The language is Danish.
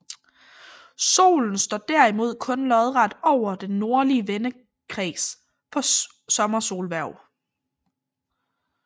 Solen står derimod kun lodret over den nordlige vendekreds på Sommersolhverv